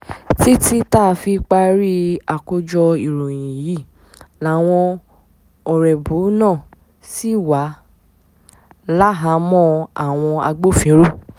títí tá a fi parí àkójọ ìròyìn yìí làwọn ọ̀rẹ́bù náà ṣì wà láhàámọ̀ àwọn agbófinró